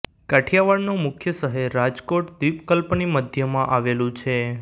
કાઠિયાવાડનું મુખ્ય શહેર રાજકોટ દ્વિપકલ્પની મધ્યમાં આવેલું છે